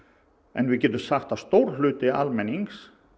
en við getum sagt að stór hluti almennings